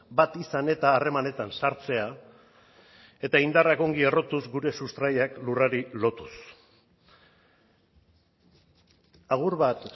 bat izan eta harremanetan sartzea eta indarrak ongi errotuz gure sustraiak lurrari lotuz agur bat